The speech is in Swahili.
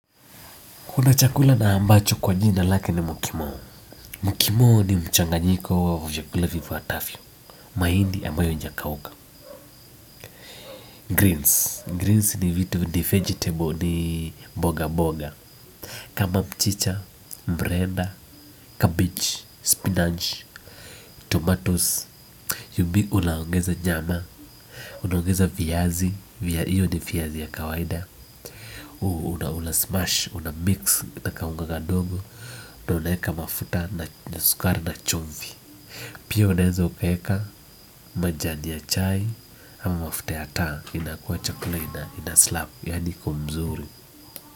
Kuna chakula na ambacho kwa jina lake ni mukimo, mukimo ni mchanganyiko wa vyakula vifuatavyo mahindi ambayo haijakauka greens, greens ni vitu ni vegetable ni mboga mboga kama mchicha, mrenda, cabbage, spinach, tomatoes maybe unaongeza nyama, unaongeza viazi, hiyo ni viazi ya kawaida. Uu una smash, una mix na kaunga kandogo na unaweka mafuta na sukari na chumvi pia unaeza ukaeka majani ya chai ama mafuta ya taa, inakuwa chakula, ina slap yani iko mzuri.